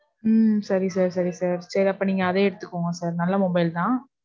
உம் சரி sir. சரி sir. சரி, அப்ப நீங்க அதையே எடுத்துக்கோங்க sir. நல்ல mobile தான்.